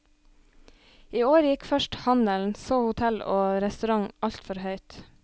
I år gikk først handelen, så hotell og restaurant altfor høyt.